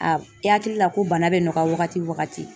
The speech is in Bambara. i hakili la ko bana bɛ nɔgɔya wagati wagati